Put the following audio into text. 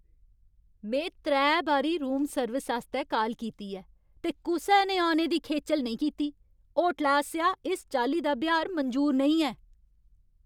में त्रै बारी रूम सर्विस आस्तै काल कीती ऐ, ते कुसै ने औने दी खेचल नेईं कीती! होटलै आसेआ इस चाल्ली दा ब्यहार मंजूर नेईं ऐ।